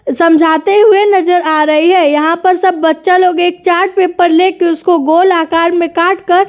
समझाते हुए नजर आ रही है। यहाँ पर सब बच्चा लोग एक चार्ट पेपर लेकर उसको गोल आकार में काटकर --